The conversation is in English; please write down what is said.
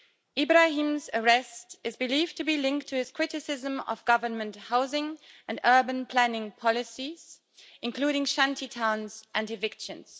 Ibrahim's arrest is believed to be linked to his criticism of government housing and urban planning policies, including shanty towns and evictions.